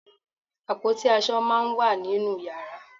Àpótí aṣọ máá ń wà nínú yàrá